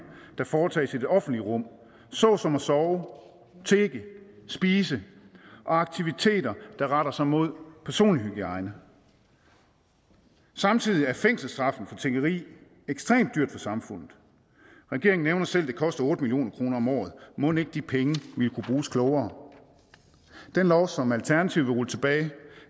der foretages i det offentlige rum såsom at sove tigge spise og aktiviteter der retter sig imod personlig hygiejne samtidig er fængselsstraffen for tiggeri ekstremt dyr for samfundet regeringen nævner selv at det koster otte million kroner om året og mon ikke de penge ville kunne bruges klogere den lov som alternativet vil rulle tilbage